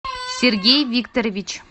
сергей викторович